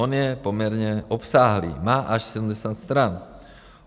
On je poměrně obsáhlý, má až 70 stran.